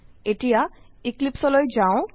এতিয়া eclipseলৈ যাও